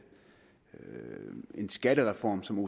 en skattereform som